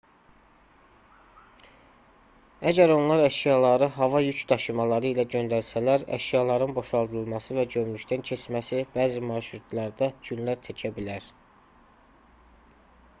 əgər onlar əşyaları hava yük daşımaları ilə göndərsələr əşyaların boşaldılması və gömrükdən keçməsi bəzi marşrutlarda günlər çəkə bilər